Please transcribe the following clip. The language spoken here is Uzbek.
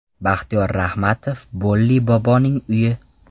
Baxtiyor Rahmatov Bolli boboning uyi.